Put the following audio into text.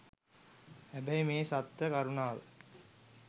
හැබැයි මේ සත්ව කරුණාව